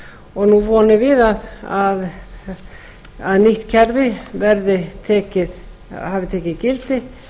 og nú vonum við að nýtt kerfi hafi tekið gildi